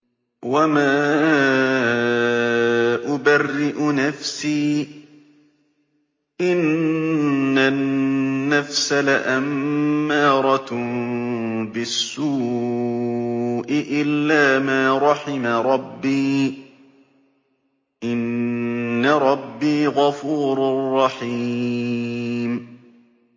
۞ وَمَا أُبَرِّئُ نَفْسِي ۚ إِنَّ النَّفْسَ لَأَمَّارَةٌ بِالسُّوءِ إِلَّا مَا رَحِمَ رَبِّي ۚ إِنَّ رَبِّي غَفُورٌ رَّحِيمٌ